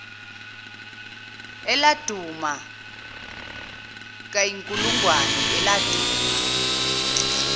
eladuma kayinkulungwane eladuma